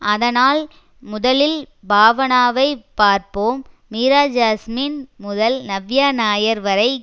அதனால் முதலில் பாவனாவை பார்ப்போம் மீராஜாஸ்மின் முதல் நவ்யா நாயர் வரை